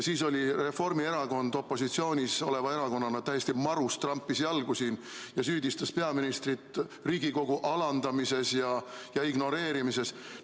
Siis oli Reformierakond opositsioonis oleva erakonnana täiesti marus, trampis jalgu ning süüdistas peaministrit Riigikogu alandamises ja ignoreerimises.